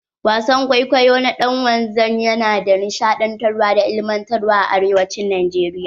Wasan kwaikwayo na dan wanzan ya na da nishaɗantarwa da ilimantarwa a arewacin najeriya.